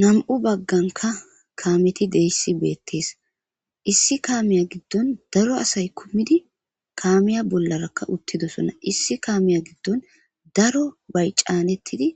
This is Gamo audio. Na'mu baganika kameti de'eyis betes issi kameya gidon daro asay kumidi kamey bollaraka utidosona issi kameya gidon darobay canetidi